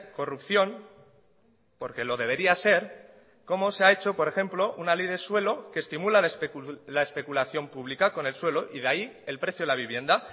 corrupción porque lo debería ser cómo se ha hecho por ejemplo una ley de suelo que estimula la especulación pública con el suelo y de ahí el precio de la vivienda